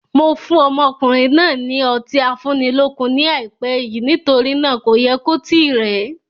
Mo fún ọmọkùnrin náà ni Ọtí afúnilókun ni ai pẹ́ yìí nítorí náà kò yẹ kó tíì rẹ.